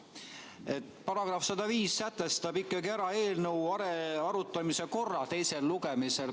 § 105 sätestab eelnõu arutamise korra teisel lugemisel.